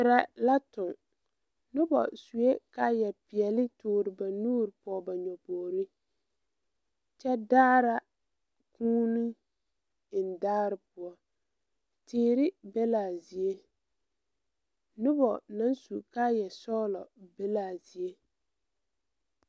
Tirɛ la toŋ nobɔ suee kaayɛ peɛle toore ba nuure pɔge ba nyobogre kyɛ daara kūūne biŋ dagre poɔ teere be laa zie nobɔ naŋ su kaayɛ sɔglɔ be laa zie.